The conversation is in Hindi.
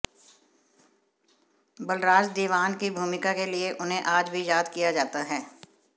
बलराज दीवान की भूमिका के लिए उन्हें आज भी याद किया जाता है